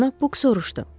Cənab Buk soruşdu.